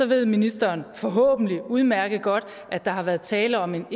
ved ministeren forhåbentlig udmærket godt at der har været tale om en